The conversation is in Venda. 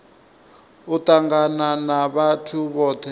u tangana na vhathu vhothe